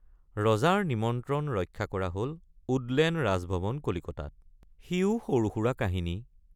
ৰজাৰ নিমন্ত্ৰণ ৰক্ষা কৰা হল উডলেণ্ড ৰাজভৱন কলিকতাত—সিও সৰুসুৰা কাহিনী।